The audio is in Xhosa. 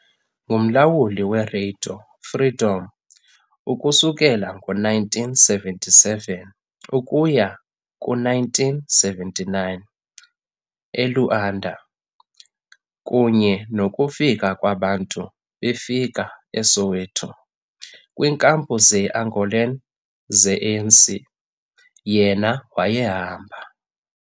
Ngumlawuli weRadio Freedom ukusukela ngo-1977 ukuya ku-1979 , e-Luanda, kunye nokufika kwabantu befika eSoweto kwiinkampu ze-Angolan ze-ANC, yena wayehamba.